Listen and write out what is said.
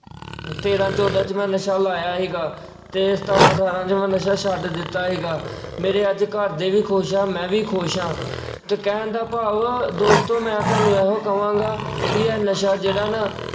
ਤੇਰ੍ਹਾਂ ਚੌਦਾਂ ਚ ਮੈਂ ਨਸ਼ਾ ਲਾਇਆ ਸੀਗਾ ਤੇ ਸਤਾਰਾਂ ਅਠਾਰਾਂ ਚ ਮੈਂ ਨਸ਼ਾ ਛੱਡ ਦਿੱਤਾ ਸੀਗਾ, ਮੇਰੇ ਅੱਜ ਘਰਦੇ ਵੀ ਖੁਸ਼ ਆ ਮੈਂ ਵੀ ਖੁਸ਼ ਆ ਤੇ ਕਹਿਣ ਦਾ ਭਾਵ ਦੋਸਤੋ ਮੈਂ ਤੁਹਾਨੂੰ ਇਹੋ ਕਹਾਂਗਾ ਵੀ ਆ ਨਸ਼ਾ ਜਿਹੜਾ ਨਾ